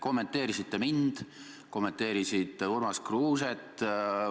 Kommenteerisite mind, kommenteerisite Urmas Kruuset.